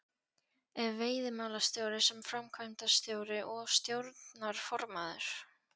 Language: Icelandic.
Ef veiðimálastjóri sem framkvæmdastjóri og stjórnarformaður